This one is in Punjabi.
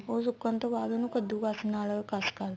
ਉਹ ਸੁਕਣ ਤੋਂ ਬਾਅਦ ਉਹਨੂੰ ਕੱਦੁਕਸ ਨਾਲ ਕਸ ਕਰਲੇ